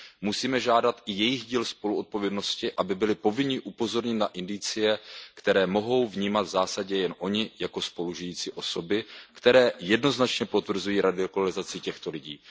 Musíme žádat i jejich díl spoluodpovědnosti, aby byli povinni upozornit na indicie, které mohou vnímat v zásadě jen oni jako spolu žijící osoby, které jednoznačně potvrzují radikalizaci těchto lidí.